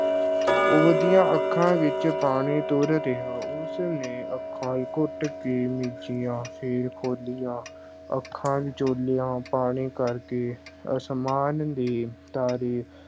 ਉਹਦੀਆਂ ਅੱਖਾਂ ਵਿੱਚ ਪਾਣੀ ਤੁਰ ਰਿਹਾ, ਉਸ ਨੇ ਅੱਖਾਂ ਘੁੱਟ ਕੇ ਮੀਚੀਆਂ, ਫਿਰ ਖੋਲ੍ਹੀਆਂ, ਅੱਖਾਂ ਪਾਣੀ ਕਰਕੇ ਅਸਮਾਨ ਦੇ ਤਾਰੇ